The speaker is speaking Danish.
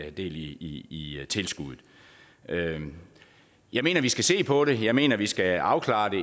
i tilskuddet jeg mener vi skal se på det jeg mener vi skal afklare det